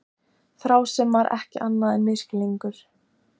Þrá sem var ekki annað en misskilningur.